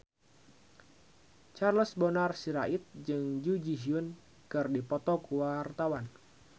Charles Bonar Sirait jeung Jun Ji Hyun keur dipoto ku wartawan